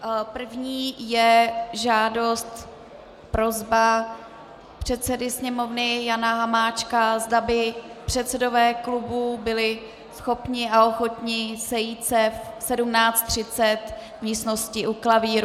První je žádost, prosba předsedy Sněmovny Jana Hamáčka, zda by předsedové klubů byli schopni a ochotni sejít se v 17.30 v místnosti u klavíru.